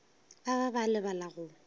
ba ba ba lebala go